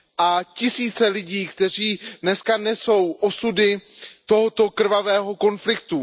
A tisíce lidí, kteří dneska nesou osudy tohoto krvavého konfliktu.